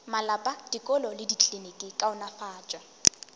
malapa dikolo le dikliniki kaonafatšo